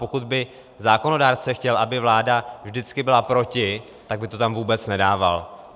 Pokud by zákonodárce chtěl, aby vláda vždycky byla proti, tak by to tam vůbec nedával.